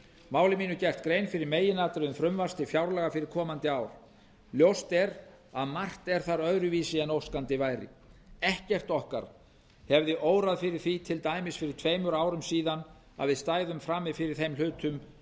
máli mínu gert grein fyrir meginatriðum frumvarps til fjárlaga fyrir komandi ár ljóst er að margt er þar öðruvísi en óskandi væri ekkert okkar hefði órað fyrir því til dæmis fyrir tveimur árum síðan að við stæðum frammi fyrir þeim hlutum